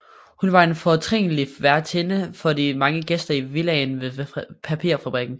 Hun var en fortrinlig værtinde for de mange gæster i villaen ved papirfabrikken